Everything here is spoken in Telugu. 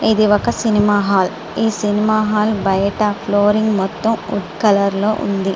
ఇది ఒక సినిమా హాల్ ఈ సినిమా హాల్ బయట ఫ్లోరింగ్ మొత్తం ఉడ్ కలర్ లో ఉంది.